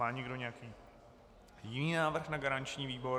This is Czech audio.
Má někdo nějaký jiný návrh na garanční výbor?